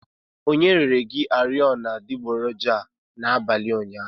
Onye rere gi oriọna adịgboroja a n'abalị ụnyaahụ?